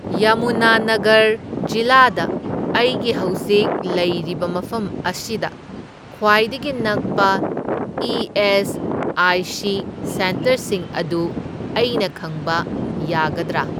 ꯌꯃꯨꯅꯥꯅꯒꯔ ꯖꯤꯂꯥꯗ ꯑꯩꯒꯤ ꯍꯧꯖꯤꯛ ꯂꯩꯔꯤꯕ ꯃꯐꯝ ꯑꯁꯤꯗ ꯈ꯭ꯋꯥꯏꯗꯒꯤ ꯅꯛꯄ ꯏ.ꯑꯦꯁ.ꯑꯥꯏ.ꯁꯤ. ꯁꯦꯟꯇꯔꯁꯤꯡ ꯑꯗꯨ ꯑꯩꯅ ꯈꯪꯕ ꯌꯥꯒꯗ꯭ꯔꯥ?